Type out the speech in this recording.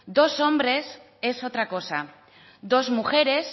dos hombres es otra cosa dos mujeres